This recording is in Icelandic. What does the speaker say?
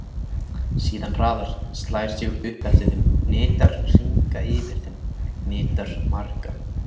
Síðan hraðar, slær sig upp eftir þeim, hnitar hringa yfir þeim, hnitar marga.